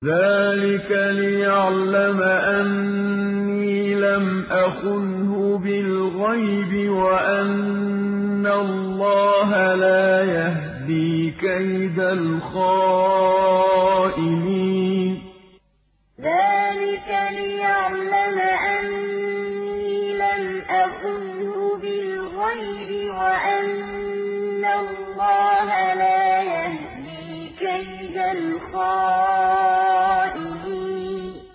ذَٰلِكَ لِيَعْلَمَ أَنِّي لَمْ أَخُنْهُ بِالْغَيْبِ وَأَنَّ اللَّهَ لَا يَهْدِي كَيْدَ الْخَائِنِينَ ذَٰلِكَ لِيَعْلَمَ أَنِّي لَمْ أَخُنْهُ بِالْغَيْبِ وَأَنَّ اللَّهَ لَا يَهْدِي كَيْدَ الْخَائِنِينَ